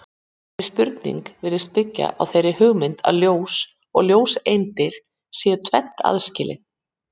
Þessi spurning virðist byggja á þeirri hugmynd að ljós og ljóseindir séu tvennt aðskilið.